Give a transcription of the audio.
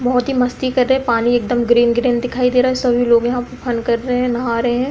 बहोत ही मस्ती कर रहे पानी एकदम ग्रीन ग्रीन दिखाई दे रहा है सभी लोग यहाँ पे फन कर रहे हैं नहा रहे हैं।